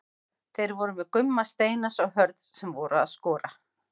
Þeir voru með Gumma Steinars og Hörð sem voru að skora.